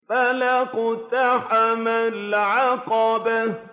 فَلَا اقْتَحَمَ الْعَقَبَةَ